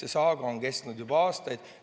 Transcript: See saaga on kestnud juba aastaid.